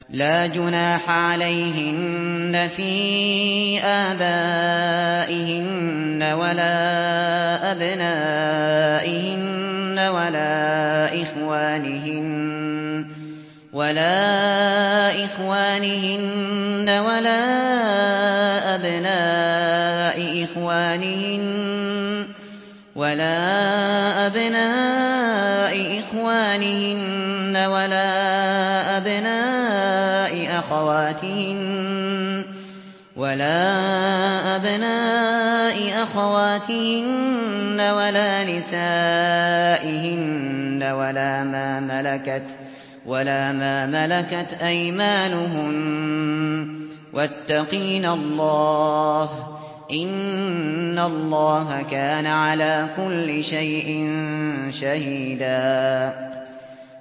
لَّا جُنَاحَ عَلَيْهِنَّ فِي آبَائِهِنَّ وَلَا أَبْنَائِهِنَّ وَلَا إِخْوَانِهِنَّ وَلَا أَبْنَاءِ إِخْوَانِهِنَّ وَلَا أَبْنَاءِ أَخَوَاتِهِنَّ وَلَا نِسَائِهِنَّ وَلَا مَا مَلَكَتْ أَيْمَانُهُنَّ ۗ وَاتَّقِينَ اللَّهَ ۚ إِنَّ اللَّهَ كَانَ عَلَىٰ كُلِّ شَيْءٍ شَهِيدًا